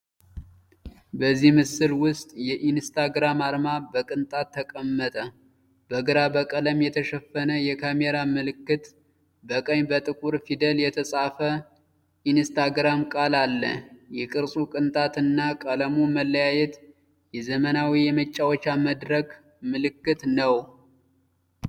በዚህ ምስል ውስጥ የ“ኢንስታግራም” አርማ በቅንጣት ተቀመጠ። በግራ በቀለም የተሸፈነ የካሜራ ምልክት፣ በቀኝ በጥቁር ፊደል የተጻፈ “ኢንስታግራም” ቃል አለ። የቅርጹ ቅንጣት እና የቀለሙ መለያየት የዘመናዊ የመጫወቻ መድረክ ምልክት ነው።